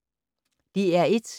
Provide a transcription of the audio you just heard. DR1